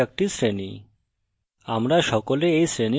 উদাহরণস্বরূপ মানুষ একটি শ্রেণী